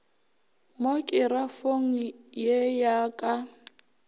mo kerafong ye ya ka